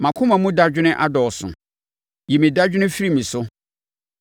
Mʼakoma mu dadwene adɔɔso; yi me dadwene firi me so.